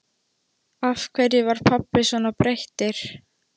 Af hverju var pabbi svona breyttur?